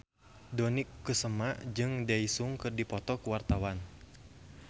Dony Kesuma jeung Daesung keur dipoto ku wartawan